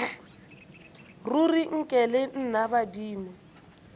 ruri nke le nna badimo